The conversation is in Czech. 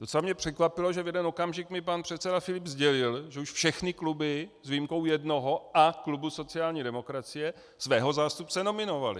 Docela mě překvapilo, že v jeden okamžik mi pan předseda Filip sdělil, že už všechny kluby s výjimkou jednoho a klubu sociální demokracie svého zástupce nominovaly.